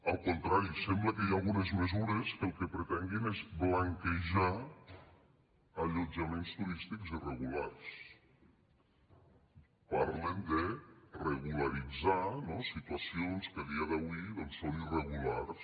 al contrari sembla que hi ha algunes mesures que el que pretenguin és blanquejar allotjaments turístics irregulars parlen de regularitzar no situacions que a dia d’avui doncs són irregulars